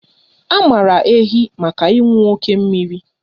A maara ehi maka ịṅụ oké mmiri